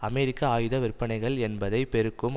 அமெரிக்க ஆயுத விற்பனைகள் என்பதை பெருக்கும்